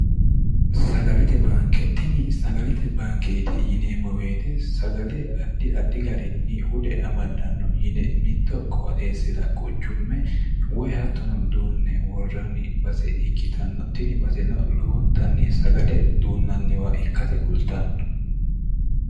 sagalete baanke tini sagalete baankeeti yineemmo beete sagale addi addi garinni hude amaddanno yine mitto qoodheessira quchumme woy hattono duunne worranni base ikkitanno tini baseno lowontanni sagale duunnanniwa ikkate kultanno